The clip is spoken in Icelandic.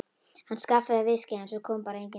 Hann skaffaði viskíið en svo kom bara engin dama.